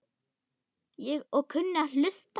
Og kunni að hlusta.